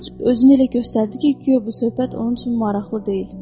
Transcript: Corc özünü elə göstərdi ki, guya bu söhbət onun üçün maraqlı deyil.